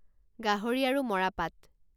গাহৰি আৰু মৰাপাট